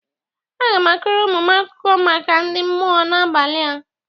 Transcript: Aga m akọrọ ụmụ m akụkọ maka ndị mmụọ n'abalị a.